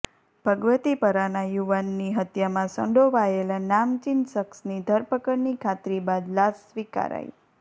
ભગવતીપરાના યુવાનની હત્યામાં સંડોવાયેલા નામચીન શખસની ધરપકડની ખાતરી બાદ લાશ સ્વીકારાઈ